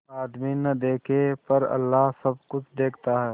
आदमी न देखे पर अल्लाह सब कुछ देखता है